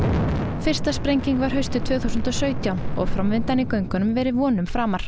fyrsta sprenging var haustið tvö þúsund og sautján og framvindan í göngunum verið vonum framar